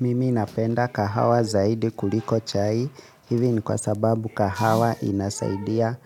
Mimi napenda kahawa zaidi kuliko chai, hivi ni kwa sababu kahawa inasaidia